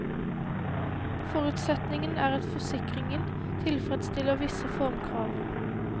Forutsetningen er at forsikringen tilfredsstiller visse formkrav.